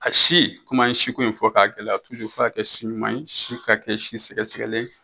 A si komi an ye siko in fɔ k'a gɛlɛya f'a ka kɛ si ɲuman ye si ka kɛ si sɛgɛsɛgɛlen